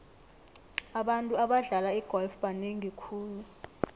abantu abadlala igolf banengi khulu